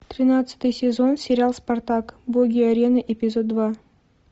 тринадцатый сезон сериал спартак боги арены эпизод два